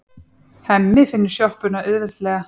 Hemmi finnur sjoppuna auðveldlega.